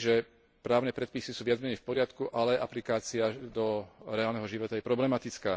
že právne predpisy sú viac menej v poriadku, ale aplikácia do reálneho života je problematická.